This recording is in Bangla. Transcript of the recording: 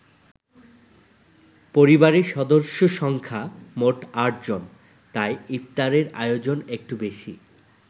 পরিবারের সদস্য সংখ্যা মোট ৮জন- তাই ইফতারের আয়োজন একটু বেশি।